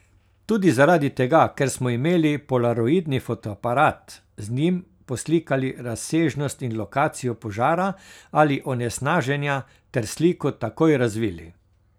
Tudi zaradi tega, ker smo imeli polaroidni fotoaparat, z njim poslikali razsežnost in lokacijo požara ali onesnaženja ter sliko takoj razvili.